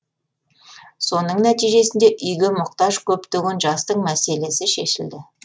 соның нәтижесінде үйге мұқтаж көптеген жастың мәселесі шешілді